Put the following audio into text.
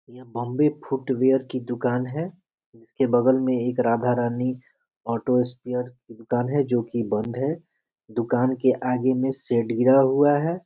यह Bombay footwear की दुकान है जिसके बगल में एक राधा रानी ऑटो स्पेयर की दुकान है जो की बंद है दुकान के आगे में शेड गिरा हुआ है ।